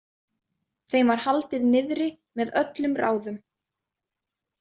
Þeim var haldið niðri með öllum ráðum.